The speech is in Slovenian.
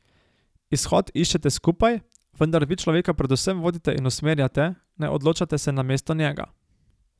Izhod iščete skupaj, vendar vi človeka predvsem vodite in usmerjate, ne odločate se namesto njega.